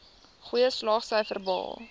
goeie slaagsyfers behaal